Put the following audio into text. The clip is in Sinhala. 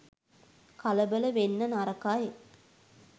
කලබල වෙන්න නරකයි.